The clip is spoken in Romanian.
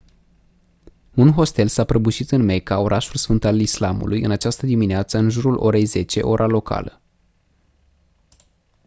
un hostel s-a prăbușit în mecca orașul sfânt al islamului în această dimineață în jurul orei 10 ora locală